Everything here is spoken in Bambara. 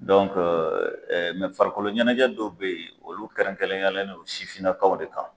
Dɔnke , farikolo ɲɛnajɛ dɔ bɛ yen olu kɛrɛnkɛrɛlenyalen don sifinnakaw de kan.